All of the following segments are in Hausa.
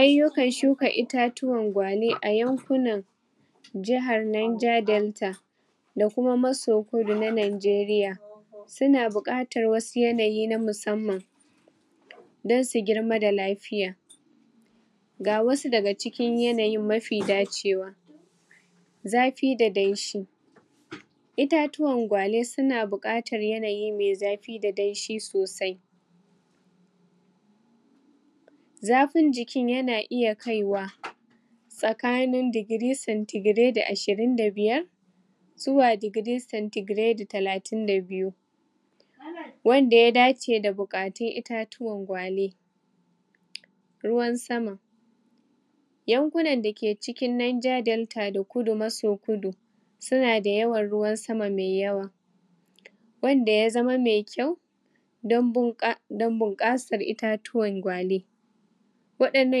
aiyukan shuka itatuwan gwale ayankunan jahar niger delta dakuma maso kudu na nigeria suna buƙatar wasu yanayi na musamman dan su germa da lafiya gawasu daga cikin yanayin mafi daciwa zafi da danshi itaciwa gwale suna buƙatar yanayi mai zafi da danshi sosai zafin jikin yana iya kaiwa tsakani degree centigrade ashirin da biyar zuwa degree centigrade talatin da biyu wanda ya dace da buƙatun itatuwan gwale ruwan sama yankunan daki cikin niger delta da kudu maso kudu sunada yawan ruwan sama mai yawa wanda yazama mai kyau dan bunƙa dan bunƙasar itatuwan gwale wadin nan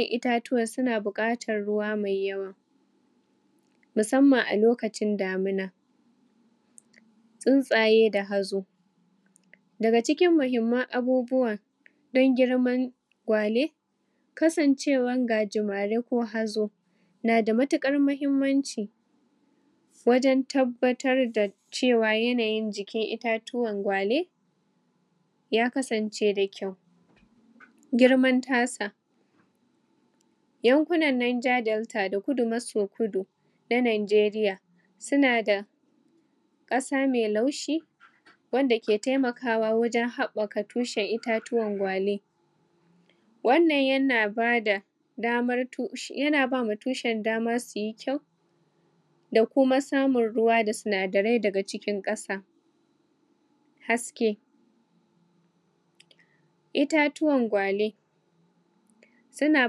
itatuwan suna buƙatar ruwa mai yawa musamnan alokacin damuna tuntsaye da hazo daga cikin mahimman abubuwa dan girman gwale kasancewan gajimari ko hazo nada matukar mahummanci wajan tabbatar da cewa yanayin jikin itatuwan gwale ya kasanci da kyau girman tasa yankunan niger delta da kudu maso kudu na nigeria sunasa ƙasa mai laushi wandake taimakawa wajan haɓaka tushan itatuwan gwale wannan yana bada damasu yanabama tushan dama suye kyau dakuma samun ruwa da sinadarai daga cikin ƙasa haski itatuwan gwale suna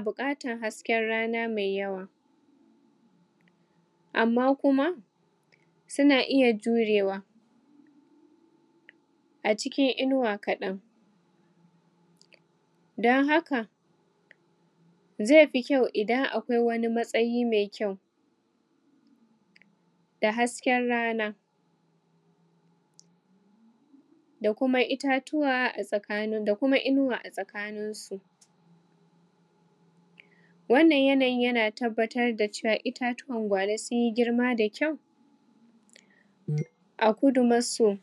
buƙatar haskin rana mai yawa amma kuma suna iya jurewa acikin inuwa kaɗai da haka zaifi kyau idan akwai wani matsayi mai kyau da hasken rana dakuma itatuwa a tsakani dakuma inuwa a tsakani su wannan yanayin yana tabbatar dacewa itatuwan gwale sunyi girma da kyau a kudu maso